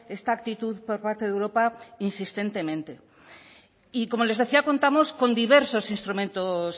esta actitud por parte de europa insistentemente y como les hacía contamos con diversos instrumentos